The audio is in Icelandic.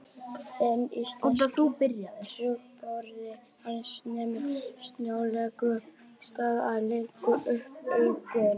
Hinn íslenski trúbróðir hans nemur snögglega staðar og glennir upp augun